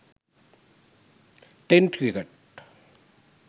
ten cricket